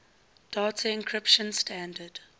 data encryption standard